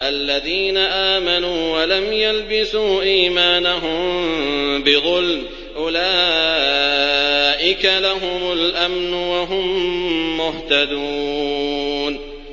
الَّذِينَ آمَنُوا وَلَمْ يَلْبِسُوا إِيمَانَهُم بِظُلْمٍ أُولَٰئِكَ لَهُمُ الْأَمْنُ وَهُم مُّهْتَدُونَ